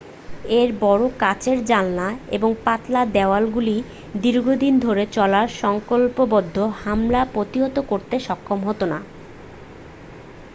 এর বড় কাচের জানালা এবং পাতলা দেওয়ালগুলি দীর্ঘদিন ধরে চলা সংকল্পবদ্ধ হামলা প্রতিহত করতে সক্ষম হত না